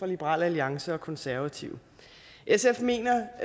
liberal alliance og konservative sf mener